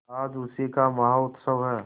आज उसी का महोत्सव है